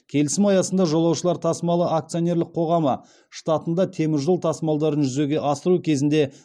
келісім аясында жолаушылар тасымалы акционерлік қоғамы штатында темір жол тасымалдарын жүзеге асыру кезінде